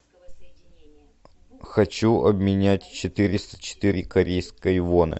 хочу обменять четыреста четыре корейской воны